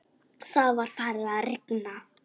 Það var farið að rigna.